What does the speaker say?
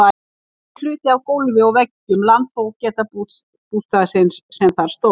Þetta er hluti af gólfi og veggjum landfógetabústaðarins sem þar stóð.